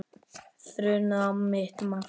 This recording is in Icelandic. Þrumaði á mitt markið.